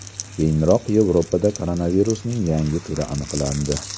Keyinroq Yevropada koronavirusning yangi turi aniqlandi .